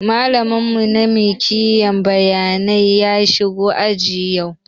Malamin mu na mikiyar bayanai ya shigo aji yau